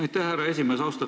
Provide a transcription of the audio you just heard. Aitäh, härra esimees!